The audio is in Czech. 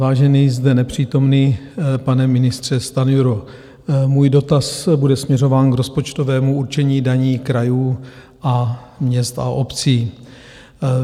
Vážený zde nepřítomný pane ministře Stanjuro, můj dotaz bude směřován k rozpočtovému určení daní krajů a měst a obcí.